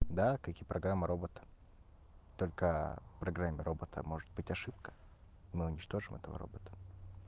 да как и программа робот только в программе робота может быть ошибка мы уничтожим этого робота